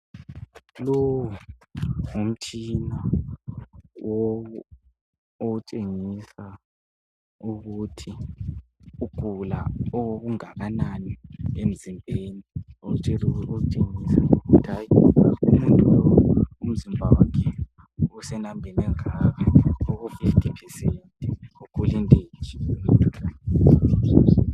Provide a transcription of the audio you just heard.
Lo ngumtshina otshengisa ukuthi ugula okungakanani emzimbeni otshengisa ukuthi hayi umuntu lo umzimba wakhe usenambeni engaka. Uku"50%".Ugula into enje.